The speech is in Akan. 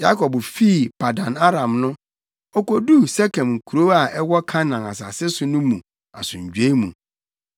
Yakob fii Paddan-Aram no, okoduu Sekem kurow a ɛwɔ Kanaan asase so no mu asomdwoe mu.